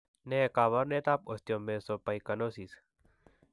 Ne kaabarunetap Osteomesopyknosis?